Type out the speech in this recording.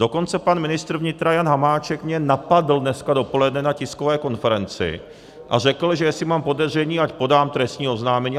Dokonce pan ministr vnitra Jan Hamáček mě napadl dneska dopoledne na tiskové konferenci a řekl, že jestli mám podezření, ať podám trestní oznámení.